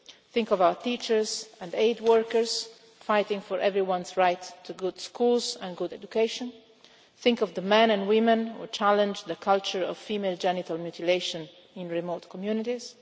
Think of our teachers and aid workers fighting for everyone's right to good schools and good education. Think of the men and women who challenge the culture of female genital mutilation in remote communities.